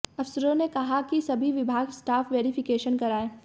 अफसरों ने कहा कि सभी विभाग स्टाक वेरीफिकेशन कराएं